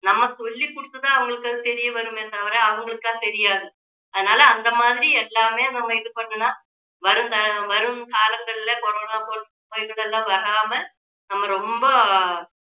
நம்ம சொல்லிக் கொடுத்துதான் அவங்களுக்கு அது தெரியவருமே தவிர அவங்களுக்கா தெரியாது அதனால அந்த மாதிரி எல்லாமே நம்ம இது பண்ணுனா வரும் த~ வரும் காலங்களில கொரோனா போன்ற நோய்கள் எல்லாம் வராம நம்ம ரொம்ப